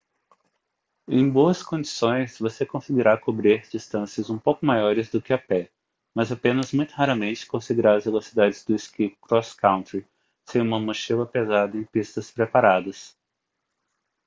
em boas condições você conseguirá cobrir distâncias um pouco maiores do que a pé mas apenas muito raramente conseguirá as velocidades do esqui cross-country sem uma mochila pesada em pistas preparadas